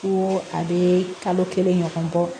Ko a bɛ kalo kelen ɲɔgɔn kɔ